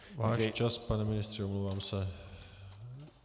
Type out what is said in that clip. Váš čas, pane ministře, omlouvám se.